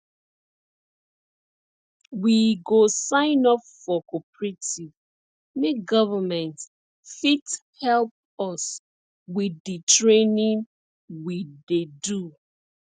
we go sign up for cooperative make government fit help us with di training we dey do